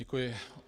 Děkuji.